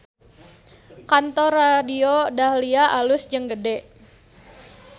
Kantor Radio Dahlia alus jeung gede